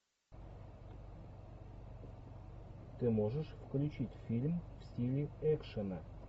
ты можешь включить фильм в стиле экшена